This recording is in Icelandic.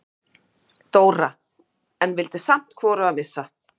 Dóra, en vildi samt hvorugan missa.